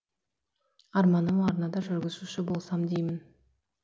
арманым арнада жүргізуші болсам деймін